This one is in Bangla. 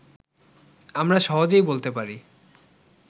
আমরা সহজেই বলতে পারি